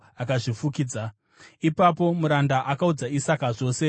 Ipapo muranda akaudza Isaka zvose zvaakanga aita.